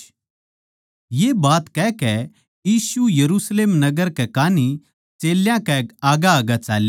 ये बात कहकै यीशु यरुशलेम नगर कै कान्ही चेल्यां कै आग्गैआग्गै चाल्या